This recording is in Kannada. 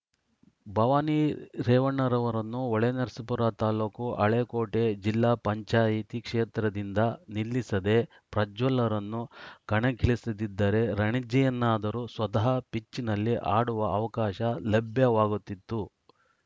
ಭವಾನಿ ರೇವಣ್ಣನವರನ್ನು ಹೊಳೆನರಸೀಪುರ ತಾಲೂಕು ಹಳೇಕೋಟೆ ಜಿಲ್ಲಾ ಪಂಚಾಯ್ತಿ ಕ್ಷೇತ್ರದಿಂದ ನಿಲ್ಲಿಸದೆ ಪ್ರಜ್ವಲ್‌ರನ್ನು ಕಣಕ್ಕಿಳಿಸಿದ್ದಿದ್ದರೆ ರಣಜಿಯನ್ನಾದರೂ ಸ್ವತಃ ಪಿಚ್‌ನಲ್ಲಿ ಆಡುವ ಅವಕಾಶ ಲಭ್ಯವಾಗುತ್ತಿತ್ತು